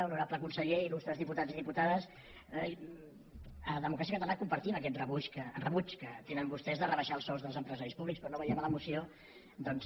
honorable conseller il·lustres diputats i diputades a democràcia catalana compartim aquest rebuig que tenen vostès de rebaixar els sous dels empresaris públics però no veiem a la moció doncs